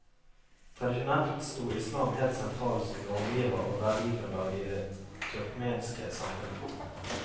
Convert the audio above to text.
Tradisjonelt stod islam helt sentralt som normgiver og verdigrunnlag i det turkmenske samfunnet.